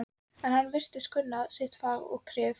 En hann virðist kunna sitt fag og kryf